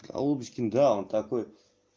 а удочкин да он такой